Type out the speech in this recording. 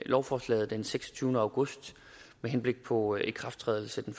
lovforslaget den seksogtyvende august med henblik på ikrafttrædelse den